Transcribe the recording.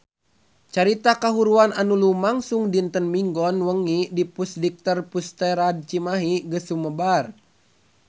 Carita kahuruan anu lumangsung dinten Minggon wengi di Pusdikter Pusterad Cimahi geus sumebar kamana-mana